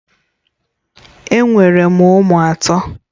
Enwere m ụmụ atọ